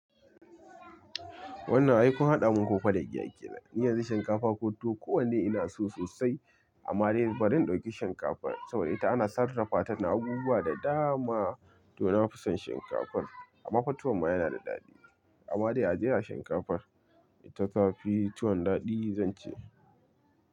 Wannan ai kun haɗa min koko da giya kenan. Niyanzu shinkafa ko tuwo kowanne ina so sosai amma dai bari in ɗauki shinkafar saboda ita ana sarrafa ta da abubuwa da dama don na fi son shinkafar amma fa tuwon ma yana da daɗi amma dai ajiye a shinkafar ita ta fi tuwon daɗi zan ce.